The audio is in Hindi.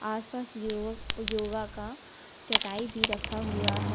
आसपास युवक योगक योगा का चटाई भी रखा हुआ है।